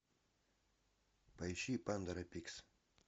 поищи пандора пикс